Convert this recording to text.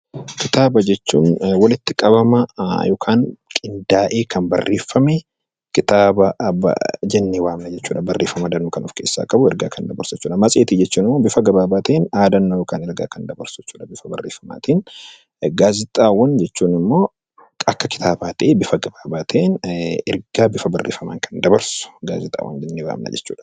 Kitaaba jechuun walitti qabama yookiin qindaa'ee kan barreeffame kitaaba jennee waamna jechuudha ergaa danuu kan of keessaa qabu jechuudha. Matseetii jechuun immoo bifa gabaabaa ta'een yaadannoo gabaabaa bifa barreeffamaatiin kan dabarsudha. Gaazexaawwan jechuun immoo akka kitaabaa ta'ee bifa gabaabaa ta'een ergaa bifa barreeffamaan kan dabarsu gaazexaawwan jennee waamna jechuudha.